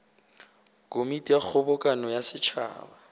komiti ya kgobokano ya setšhaba